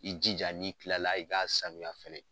I jija n'i kila la i k'a sanuya fɛnɛ.